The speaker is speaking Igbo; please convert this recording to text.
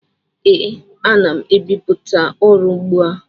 Ee, ana m ebipụta ọrụ ugbu a.